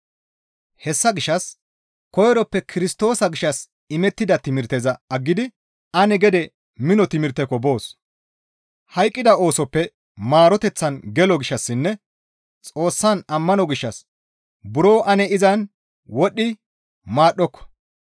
Hessa gishshas koyroppe Kirstoosa gishshas imettida timirteza aggidi ane gede mino timirtekko boos. Hayqqida oosoppe maaroteththan gelo gishshassinne Xoossan ammano gishshas ane izan buro wodhdhi maadhdhoko.